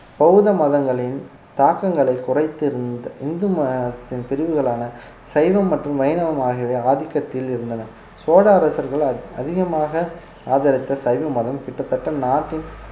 பௌத்த மதங்களின் தாக்கங்களை குறைத்து இருந்த இந்து மதத்தின் பிரிவுகளான சைவம் மற்றும் வைணவம் ஆகியவை ஆதிக்கத்தில் இருந்தன சோழ அரசர்களால் அதிகமாக ஆதரித்த சைவ மதம் கிட்டத்தட்ட நாட்டின்